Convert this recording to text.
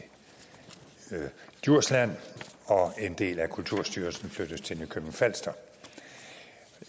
djursland og en del af kulturstyrelsen flyttes til nykøbing falster